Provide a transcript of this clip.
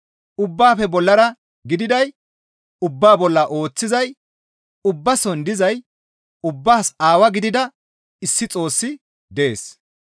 Ubbaafe bollara gididay, ubbaa bolla ooththizay, ubbason dizay, ubbaas Aawaa gidida issi Xoossi dees.